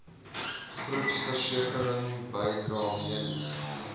groepversekering bydrae mediese